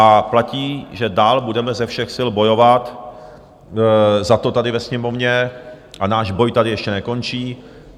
A platí, že dál budeme ze všech sil bojovat za to tady ve Sněmovně, a náš boj tady ještě nekončí.